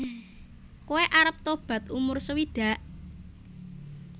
Koe arep tobat umur sewidak?